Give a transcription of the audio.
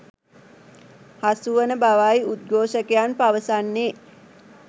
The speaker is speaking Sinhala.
හසු වන බවයි උද්ඝෝෂකයන් පවසන්නේ.